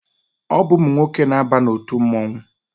Ọ bụ ụmụ nwoke na-aba n'otu mmụọnwụ.